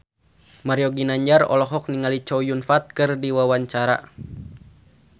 Mario Ginanjar olohok ningali Chow Yun Fat keur diwawancara